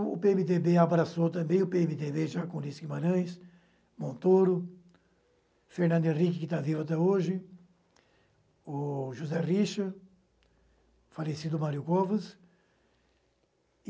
o pê eme dê bê abraçou também o pê eme dê bê, já com Luiz Guimarães, Montoro, Fernando Henrique, que está vivo até hoje, o José Richa, falecido Mário Covas e